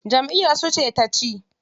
Jamʼiyar su ce taci.